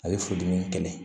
A ye furudimi kɛlɛ